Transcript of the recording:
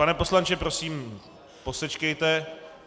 Pane poslanče, prosím, posečkejte.